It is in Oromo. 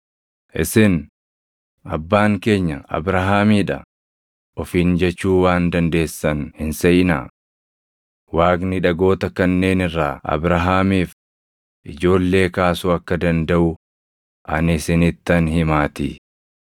Isin, ‘Abbaan keenya Abrahaamii dha’ ofiin jechuu waan dandeessan hin seʼinaa. Waaqni dhagoota kanneen irraa Abrahaamiif ijoollee kaasuu akka dandaʼu ani isinittan himaatii.